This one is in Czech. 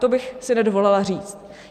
To bych si nedovolila říct.